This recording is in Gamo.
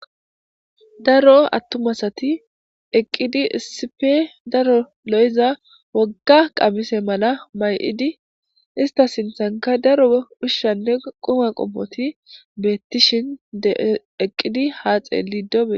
Daro attuma asati eqqidi issippe daro lo'iza wogga qamise mala may'idi ista sinthenka daro ushanne quma qommoti beetishin de'i eqqidi ha xeelida.